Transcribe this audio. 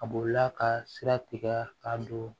A bolila ka sira tigɛ k'a don